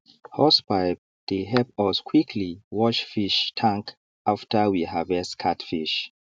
hosepipe dey help us quickly wash fish tank after we harvest catfish